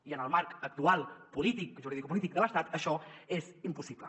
i en el marc actual juridicopolític de l’estat això és impossible